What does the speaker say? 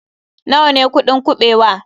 Nawa ne kuɗin kuɓewa?